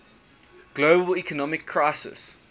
global economic crisis